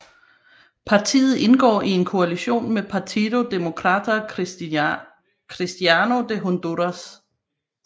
Partiet indgår i en koalition med Partido Demócrata Cristiano de Honduras